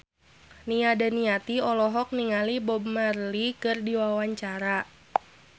Nia Daniati olohok ningali Bob Marley keur diwawancara